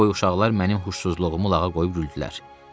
boyu uşaqlar mənim xoşsuzluğumu lağa qoyub güldülər.